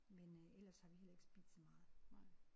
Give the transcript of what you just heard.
Men øh ellers har vi heller ikke spist så meget